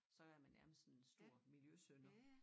Så er man nærmest sådan en stor miljøsynder